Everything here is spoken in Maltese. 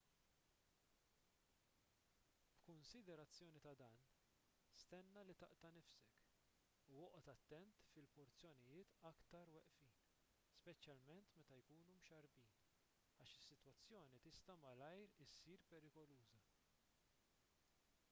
b'kunsiderazzjoni ta' dan stenna li taqta' nifsek u oqgħod attent fil-porzjonijiet iktar weqfin speċjalment meta jkunu mxarrbin għax is-sitwazzjoni tista' malajr issir perikoluża